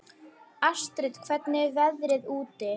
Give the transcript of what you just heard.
Astrid, hvernig er veðrið úti?